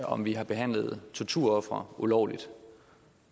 om vi har behandlet torturofre ulovligt